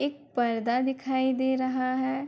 एक पर्दा दिखाई दे रहा है।